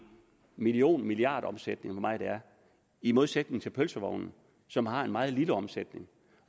million eller milliardomsætning meget det er i modsætning til pølsemanden som har en meget lille omsætning